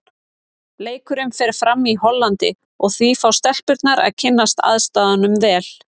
Leikurinn fer fram í Hollandi og því fá stelpurnar að kynnast aðstæðum vel.